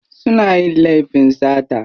Suna yin laifin sata.